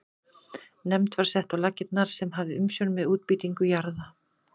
Nefnd var sett á laggirnar sem hafði umsjón með útbýtingu jarða.